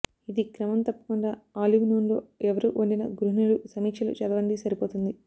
ఇది క్రమం తప్పకుండా ఆలివ్ నూనెలో ఎవరు వండిన గృహిణులు సమీక్షలు చదవండి సరిపోతుంది